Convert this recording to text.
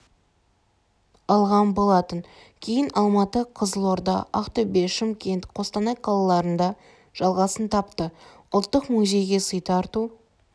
алған болатын кейін алматы қызылорда ақтөбе шымкент қостанай қалаларында жалғасын тапты ұлттық музейге сый тарту